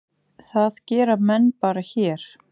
Það gera menn bara hér.